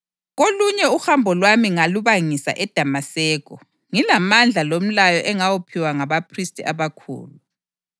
Kolunye uhambo lwami ngalubangisa eDamaseko ngilamandla lomlayo engawuphiwa ngabaphristi abakhulu.